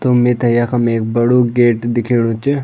तो मिथे यखम एक बडू गेट दिखेणु च।